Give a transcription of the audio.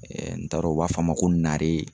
n t'a dɔn u b'a fɔ a ma ko nare